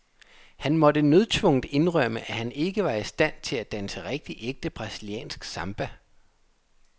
Han måtte nødtvungent indrømme, at han ikke var i stand til at danse rigtig ægte brasiliansk samba.